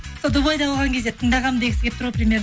сол дубайда болған кезде тыңдағанмын дегісі келіп тұр ғой